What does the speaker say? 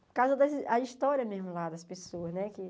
Por causa da história mesmo lá das pessoas, né?